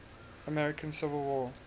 american civil war